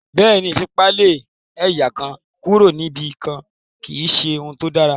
Bẹ́ẹ̀ ni, ìfipá lé ẹ̀yà kan kúrò níbi kan kì í ṣe ohun tó dáa